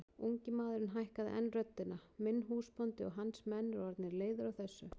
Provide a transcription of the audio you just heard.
Ungi maðurinn hækkaði enn röddina:-Minn húsbóndi og hans menn eru orðnir leiðir á þessu!